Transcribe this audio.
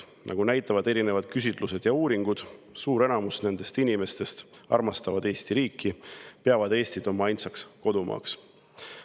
Nagu näitavad küsitlused ja uuringud, suur enamus nendest inimestest armastavad Eesti riiki ja peavad Eestit oma ainsaks kodumaaks.